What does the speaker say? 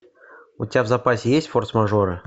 у тебя в запасе есть форс мажоры